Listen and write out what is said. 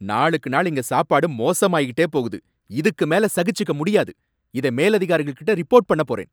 நாளுக்கு நாள் இங்க சாப்பாடு மோசமாயிட்டே போகுது, இதுக்கு மேல சகிச்சுக்க முடியாது. இதை மேலதிகாரிகள் கிட்ட ரிப்போர்ட் பண்ணப் போறேன்.